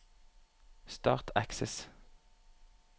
Start Access